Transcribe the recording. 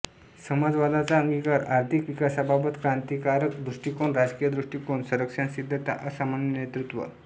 समाजवादाचा अंगीकार आर्थिक विकासाबाबत क्रांतीकारक दृष्टिकोन राजकीय दृष्टिकोन संरक्षणसिद्धता असामान्य नेतृत्व